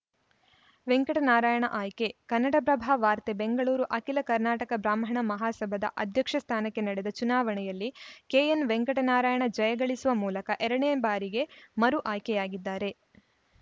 ವೆಂಕಟನಾರಾಯಣ ಆಯ್ಕೆ ಕನ್ನಡಪ್ರಭ ವಾರ್ತೆ ಬೆಂಗಳೂರು ಅಖಿಲ ಕರ್ನಾಟಕ ಬ್ರಾಹ್ಮಣ ಮಹಾಸಭಾದ ಅಧ್ಯಕ್ಷ ಸ್ಥಾನಕ್ಕೆ ನಡೆದ ಚುನಾವಣೆಯಲ್ಲಿ ಕೆಎನ್‌ವೆಂಕಟನಾರಾಯಣ ಜಯಗಳಿಸುವ ಮೂಲಕ ಎರಡನೇ ಬಾರಿಗೆ ಮರು ಆಯ್ಕೆಯಾಗಿದ್ದಾರೆ